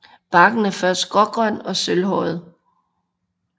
Barken er først grågrøn og sølvhåret